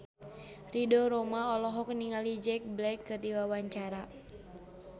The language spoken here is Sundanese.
Ridho Roma olohok ningali Jack Black keur diwawancara